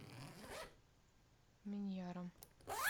миньяром